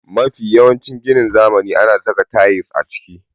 Yanzu mafi yawancin ginin zamani ana saka tayils a ciki.